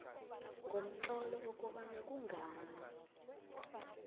ngomtlolo ukobana kungani